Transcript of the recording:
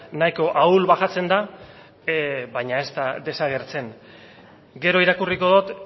nahiko ahul baxatzen da baina ez da desagertzen gero irakurriko dut